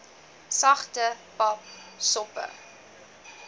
sagte pap soppe